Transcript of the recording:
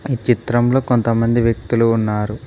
ఈ చిత్రంలో కొంతమంది వ్యక్తులు ఉన్నారు.